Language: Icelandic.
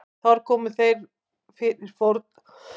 Þar komu þeir fyrir fórnarölturum til að dýrka guðina.